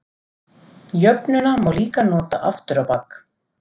Jöfnuna má líka nota aftur á bak.